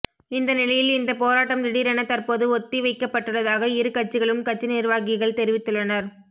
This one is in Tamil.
இந்த நிலையில் இந்த போராட்டம் திடீரென தற்போது ஒத்திவைக்கப்பட்டுள்ளதாக இரு கட்சிகளும் கட்சி நிர்வாகிகள் தெரிவித்துள்ளனர்